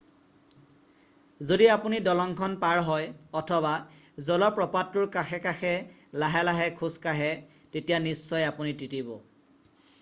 যদি আপুনি দলংখন পাৰ হয় অথবা জলপ্ৰপাতটোৰ কাষে কাষে লাহে লাহে খোজ কাঢ়ে তেতিয়া নিশ্চয় আপুনি তিতিব